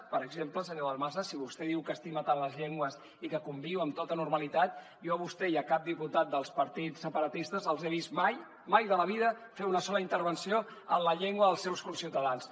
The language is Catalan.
per exemple senyor dalmases si vostè diu que estima tant les llengües i que hi conviu amb tota normalitat jo a vostè i a cap diputat dels partits separatistes els he vist mai mai de la vida fer una sola intervenció en la llengua dels seus conciutadans